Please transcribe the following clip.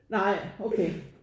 Nej okay